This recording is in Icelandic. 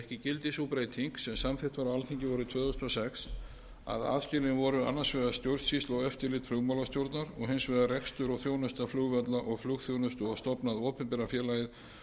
gildi sú breyting sem samþykkt var á alþingi vorið tvö þúsund og sex að aðskilin voru annars vegar stjórnsýsla og eftirlit flugmálastjórnar og hins vegar rekstur og þjónusta flugvalla og flugþjónustu og stofnað opinbera félagið